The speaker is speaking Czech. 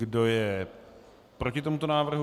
Kdo je proti tomuto návrhu?